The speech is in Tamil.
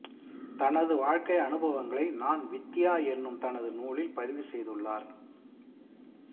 தனது வாழ்க்கை அனுபவங்களை நான் வித்யா எனும் தனது நூலில் பதிவு செய்துள்ளார்